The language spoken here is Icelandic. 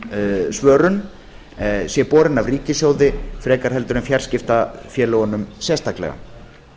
neyðarsvörun sé borinn af ríkissjóði frekar en fjarskiptafélögunum sérstaklega